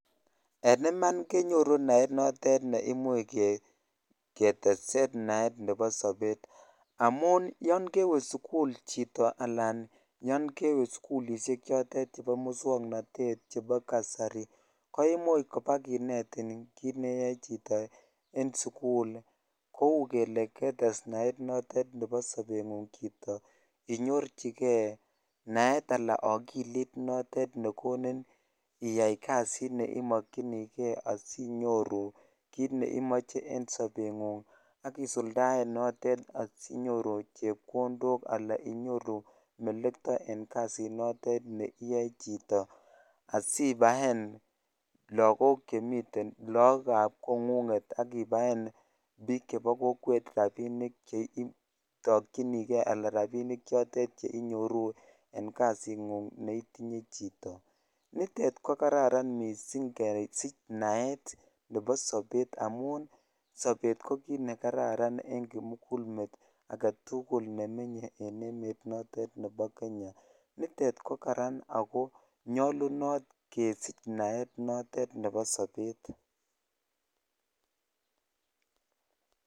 En iman kenyoru naet notet ne imuche ke ketesen naet nebo sobet, amun yon kewee sukul chito alan yon kewee sukulishek chotet chebo muswoknotet chebo kasari ko imuch kobakineti ki neyoe chito en sukul kou kele ketes naet notet nebo sobenguny chito. Inyorchigee naet Alan okilit notet nekonin iyai kasit neimokinigee asinyoru kit neimoche en sobenywan ak isuldaen notet asinyoru chepkondok alan inyoru melekto en kasit notet nekiyoe chito asibaen lokok chemiten Lokab kongunget akibaen bik chebo kokwet rabinik cheitokinigee anan rabinik chotet cheinyoru en kasinguny neitinye chito. Nitet ko kararan missing kesich naet nebo sobet amun sobet ko kit nekararan en kimugulmet agetukul nemenye en emet notet nebo Kenya, nitet ko karan ako nyoluno kesich naet notet nebo sobet.